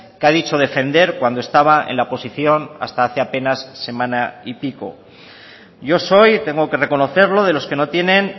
que ha dicho defender cuando estaba en la posición hasta hace apenas semana y pico yo soy y tengo que reconocerlo de los que no tienen